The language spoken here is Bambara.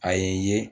A ye ye